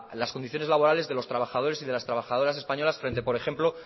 las condiciones laborales de los trabajadores y de las trabajadoras españolas frente por ejemplo